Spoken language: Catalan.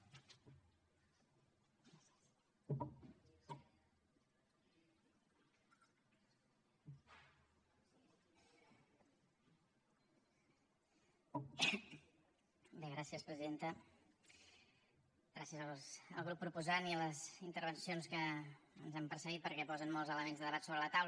gràcies al grup proposant i a les intervencions que ens han precedit perquè posen molts elements de debat sobre la taula